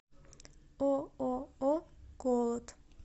ооо колот